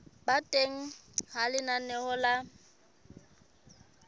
ba teng ha lenaneo la